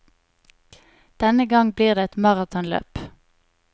Denne gang blir det et maratonløp.